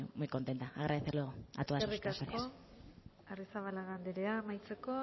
muy contenta agradecerlo a todas vosotras gracias eskerrik asko arrizabalaga anderea amaitzeko